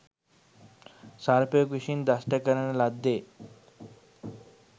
සර්පයෙකු විසින් දෂ්ට කරන ලද්දේ